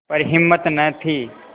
पर हिम्मत न थी